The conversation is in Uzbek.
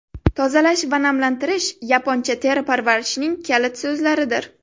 Tozalash va namlantirish yaponcha teri parvarishining kalit so‘zlaridir.